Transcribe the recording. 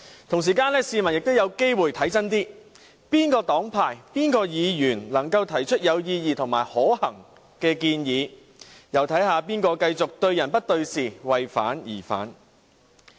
同時間，市民也有機會看清楚哪個黨派、哪位議員能夠提出有意義及可行的建議，又可以看看誰會繼續對人不對事，為反對而反對。